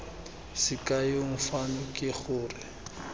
se kayang fano ke gore